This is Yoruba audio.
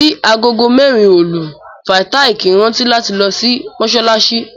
Bí agogo mérin òlù, Fàtáì kíí rántí láti lo sí Mósálaṣí.